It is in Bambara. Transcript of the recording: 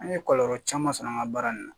An ye kɔlɔlɔ caman sɔrɔ an ka baara in na